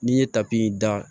N'i ye tapi in da